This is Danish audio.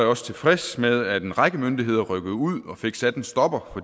også tilfreds med at en række myndigheder rykkede ud og fik sat en stopper for